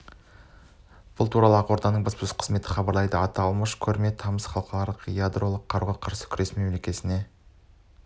бұл туралы ақорданың баспасөз қызметі хабарлайды аталмыш көрме тамыз халықаралық ядролық қаруға қарсы күрес күні мерекесіне